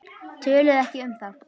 Töluðu ekki um það.